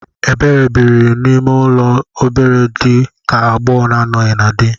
Ebere biri n'ụlọ dị nnọọ obere dị ka agbogho na anoghi na di